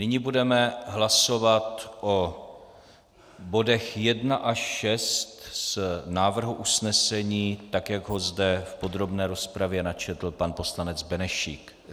Nyní budeme hlasovat o bodech 1 až 6 z návrhu usnesení, tak jak ho zde v podrobné rozpravě načetl pan poslanec Benešík.